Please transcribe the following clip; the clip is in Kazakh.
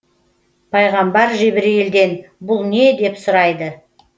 пайғамбар жебірейілден бұл не деп сұрайды